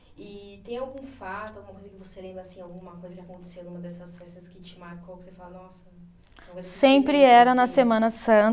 E tem algum fato, alguma coisa que você lembra assim, alguma coisa que aconteceu numa dessas festas que te marcou, que você fala, nossa. Sempre era na semana